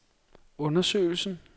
undersøgelsen